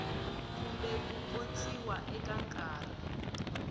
kumbe ku khotsiwa eka nkarhi